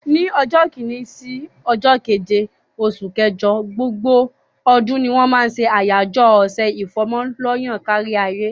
Ni ọjọ́ kini sí ọjọ́ keje oṣù kẹjọ gbogbo ọdún ni wọ́n máa ṣe àyájọ́ ọ̀sẹ̀ ìfọ́mọ lọ́yàn káríayé.